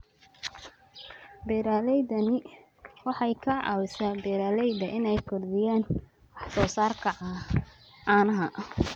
Beeralaydaani waxay ka caawisaa beeralayda inay kordhiyaan wax soo saarka caanaha.